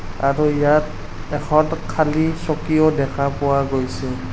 আৰু ইয়াত এখন খালী চকীও দেখা পোৱা গৈছে।